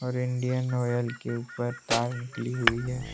और Indian Oil के ऊपर तार निकली हुई है।